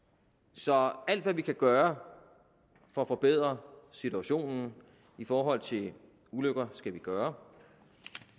så alt hvad vi kan gøre for at forbedre situationen i forhold til ulykker skal vi gøre